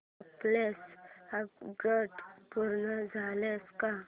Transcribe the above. कालचं अपग्रेड पूर्ण झालंय का